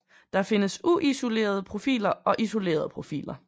Der findes uisolerede profiler og isolerede profiler